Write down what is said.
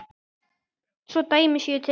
Svo dæmi séu tekin.